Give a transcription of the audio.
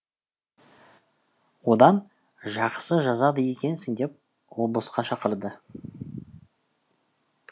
одан жақсы жазады екенсің деп облысқа шақырды